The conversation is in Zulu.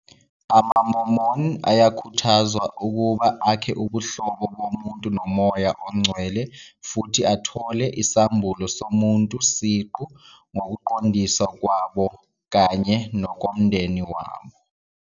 AmaMormon ayakhuthazwa ukuba akhe ubuhlobo bomuntu noMoya oNgcwele futhi athole isambulo somuntu siqu ngokuqondiswa kwabo kanye nokwomndeni wabo.